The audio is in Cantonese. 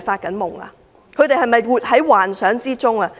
他們是否活在幻想之中？